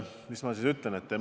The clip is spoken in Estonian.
Mis ma siis ütlen?